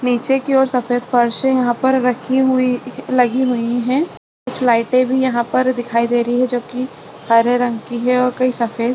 नीचे की और सफ़ेद फर्श है यहाँ पर रखी हुई लगी हुई है कुछ लाइटे भी यहाँ पर दिखाई दे रही है जो की हरे रंग की है और कई सफ़ेद --